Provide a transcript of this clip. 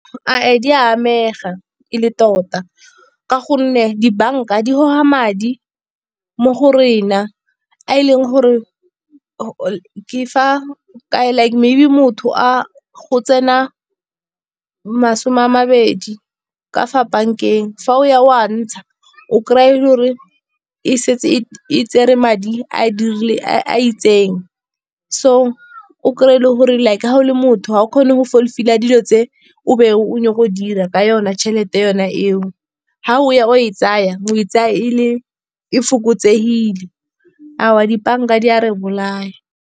Di amega e le tota ka gonne di-bank-a di goga madi mo go rena, a e leng gore ke fa like maybe motho a go tsena masome a mabedi ka fa bank-eng, fa o ya wa ntsha o kry-a gore e setse e tsere madi a a itseng. So o kry-e le gore like ga o le motho, ga o kgone go fullfil-a dilo tse o be o nyaka go dira ka yona tšhelete yona eo. Ga o ya o e tsaya o e tsaya e fokotsegile, aowa di-bank-a di a re bolaya.